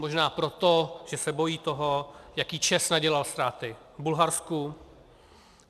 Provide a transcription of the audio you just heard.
Možná proto, že se bojí toho, jaké ČEZ nadělal ztráty v Bulharsku.